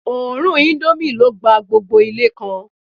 Òórùn indomie ló gba gbogbo Ilé kan